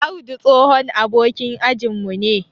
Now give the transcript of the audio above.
Audu tsohon abokan ajin mu ne.